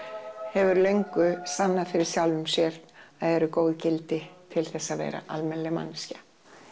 hefur löngu sannað fyrir sjálfum sér að eru góð gildi til þess að vera almennileg manneskja